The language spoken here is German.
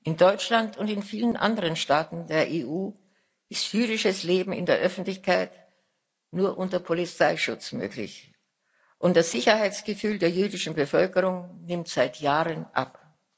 In Deutschland und vielen anderen Staaten der EU ist jüdisches Leben in der Öffentlichkeit nur unter Polizeischutz möglich, und das Sicherheitsgefühl der jüdischen Bevölkerung nimmt seit Jahren ab.